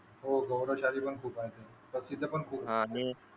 हो गौरवशाली पण खूप आहेत पण इथे पण खूप आहे आणि